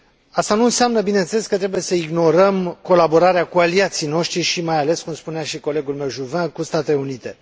Asta nu înseamnă, bineînțeles, că trebuie să ignorăm colaborarea cu aliații noștri și mai ales, cum spunea și colegul meu, Juvin, cu Statele Unite.